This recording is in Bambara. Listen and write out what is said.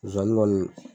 Zonzani kɔni